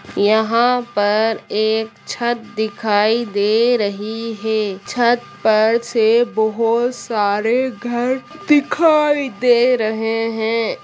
यहाँ पर एक छत दिखाई दे रही है छत पर से बहुत सारे घर दिखाई दे रहे है।